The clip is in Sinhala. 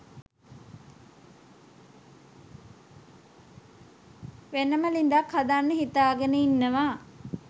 වෙනම ළිඳක් හදන්න හිතාගෙන ඉන්නවා.